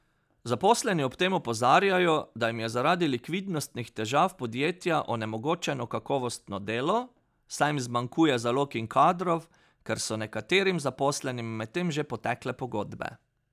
Zaposleni ob tem opozarjajo, da jim je zaradi likvidnostnih težav podjetja onemogočeno kakovostno delo, saj jim zmanjkuje zalog in kadrov, ker so nekaterim zaposlenim medtem že potekle pogodbe.